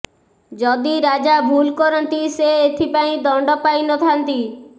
ଯଦି ରାଜା ଭୁଲ କରନ୍ତି ସେ ଏଥିପାଇଁ ଦଣ୍ଡ ପାଇ ନଥାନ୍ତି